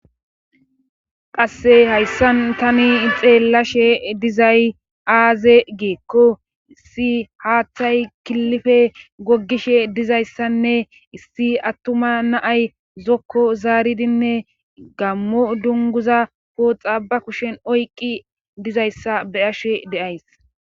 qasse hayssan tani xeellashe dizay aaze geekko si haaththay killife gogishe dizayssanne issi attuma naay zokko zaaridinne gammo dunguza pooxa ba kushen oyqqi dizayssa be ashe deays